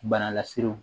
Bana laserew